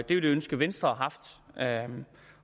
et ønske venstre har haft